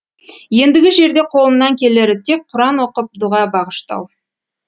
ендігі жерде қолымнан келері тек құран оқып дұға бағыштау